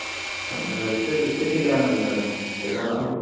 ഏർ dress എടുത്തിട്ടില്ല ന്നല്ലേ പറഞ്ഞെ പേറുന്നത് ആവുന്നേ ഉള്ളു